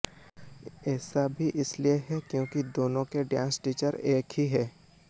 ऐसा भी इसलिए हैं क्योंकि दोनों के डांस टीचर एक ही हैं